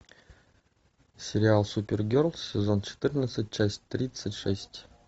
сериал супергерлз сезон четырнадцать часть тридцать шесть